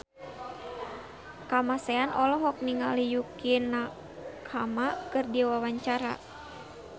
Kamasean olohok ningali Yukie Nakama keur diwawancara